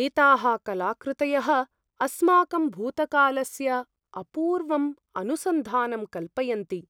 एताः कलाकृतयः आस्माकं भूतकालस्य अपूर्वम् अनुसन्धानं कल्पयन्ति,